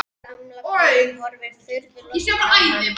Gamla konan horfir furðulostin á hann.